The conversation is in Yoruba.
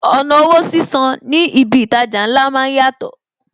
Ọ̀nà owó sísan ní ibi itaja ńlá máa ń yàtọ̀